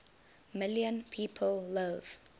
million people live